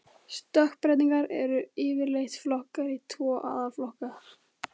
Stökkbreytingar eru yfirleitt flokkaðar í tvo aðalflokka.